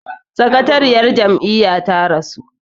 sakatariyar Jam'iyya ta rasu